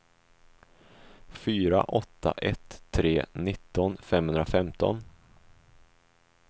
fyra åtta ett tre nitton femhundrafemton